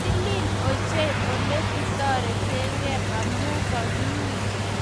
Titil ochei olegitoretegee amu kagiun